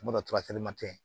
Mana